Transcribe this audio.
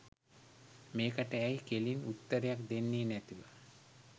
මේකට ඇයි කෙලින් උත්තරයක් දෙන්නේ නැතිව